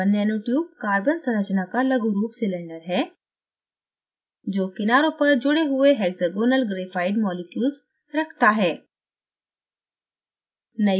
carbon nanotubeकार्बन संरचना का लघु रूप सिलिंडर है जो किनारों पर जुड़े हुए hexagonal graphite मॉलिक्यूल्स रखता है